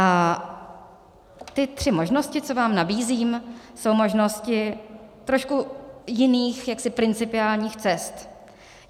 A ty tři možnosti, co vám nabízím, jsou možnosti trošku jiných, jaksi principiálních cest.